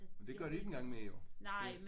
Men det gør det ikke engang mere jo!